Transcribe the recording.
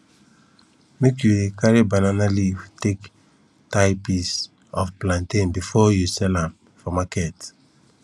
make you dey carry banana leaf take tie pieces of plantain before you sell am for market